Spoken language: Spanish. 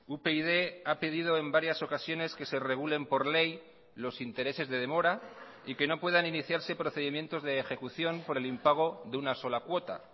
upyd ha pedido en varias ocasiones que se regulen por ley los intereses de demora y que no puedan iniciarse procedimientos de ejecución por el impago de una sola cuota